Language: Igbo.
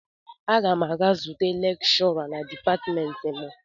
Aga m aga zute lekshọra na dipatịmentị m.